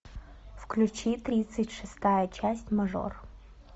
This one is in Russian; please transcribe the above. включи тридцать шестая часть мажор